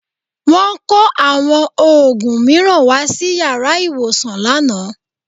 Wọ́n kó àwọn òògùn mìíràn wá sí yàrá ìwòsàn lánàá